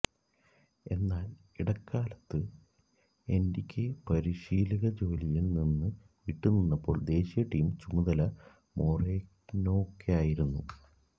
എന്നാൽ ഇടക്കാലത്ത് എന്റിക്വെ പരിശീലകജോലിയിൽ നിന്നി വിട്ടുനിന്നപ്പോൾ ദേശീയ ടീം ചുമതല മോറേനോയ്ക്കായിരുന്നു